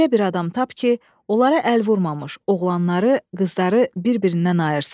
Elə bir adam tap ki, onlara əl vurmamış oğlanları, qızları bir-birindən ayırsın.